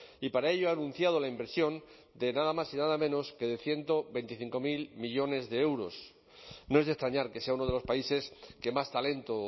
y para ello ha anunciado la inversión de nada más y nada menos que de ciento veinticinco mil millónes de euros no es de extrañar que sea uno de los países que más talento